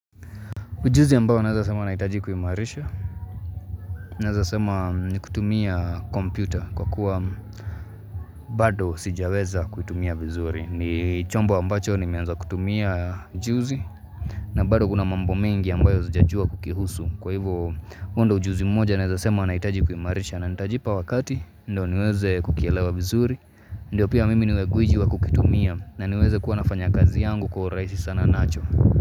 Ujuzi ambao nazasema naitaji kuhimarisha. Nazasema ni kutumia kompyuta kwa kuwa bado sijaweza kutumia vizuri. Ni chombo ambacho ni meanza kutumia ujuzi. Na bado kuna mambo mengi ambayo zijajua kukihusu. Kwa hio ndo ujuzi mmoja naezasema nahitaji kuimarisha. Na nitajipa wakati ndo niweze kukielewa vizuri. Ndiyo pia mimi niweza kuijua kukitumia na niweze kuwa nafanya kazi yangu kwa urahisi sana nacho.